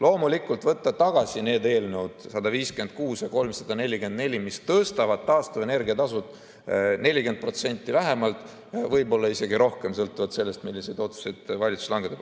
Loomulikult, võtta tagasi eelnõud 156 ja 344, mis tõstavad taastuvenergia tasu 40% vähemalt, võib-olla isegi rohkem, sõltuvalt sellest, milliseid otsused valitsus langetab.